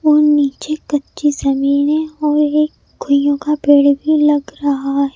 और नीचे कच्ची सनी है और एक गइयों का पेड़ भी लग रहा है।